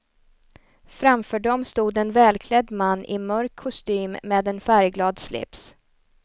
Framför dem stod en välklädd man i mörk kostym med en färgglad slips.